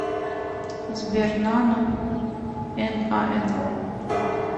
сбер нано н а н о